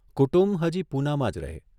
કુટુંબ હજી પૂનામાં જ રહે